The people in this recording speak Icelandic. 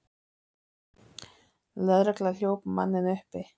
Lögregla hljóp manninn uppi.